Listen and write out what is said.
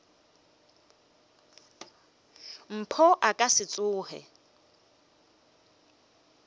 mpho a ka se tsoge